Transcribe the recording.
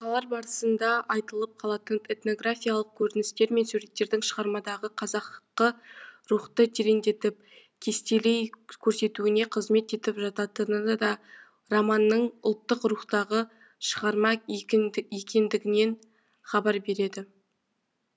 оқиғалар барысында айтылып қалатын этнографиялық көріністер мен суреттердің шығармадағы қазақы рухты тереңдетіп кестелей көрсетуіне қызмет етіп жататыны да романның ұлттық рухтағы шығарма екендігінен хабар береді